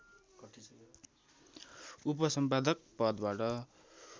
उपसम्पादक पदबाट